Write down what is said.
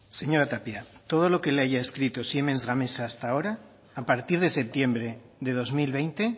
señora tapia todo lo que le haya escrito siemens gamesa hasta ahora a partir de septiembre de dos mil veinte